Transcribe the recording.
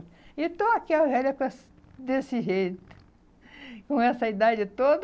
E estou aqui a velha com essa desse jeito, com essa idade toda.